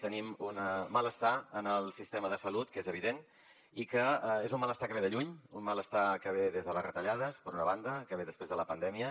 tenim un malestar en el sistema de salut que és evident i és un malestar que ve de lluny un malestar que ve des de les retallades per una banda que ve després de la pandèmia